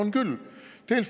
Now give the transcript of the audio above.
On küll!